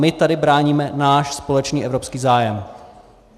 My tady bráníme náš společný evropský zájem.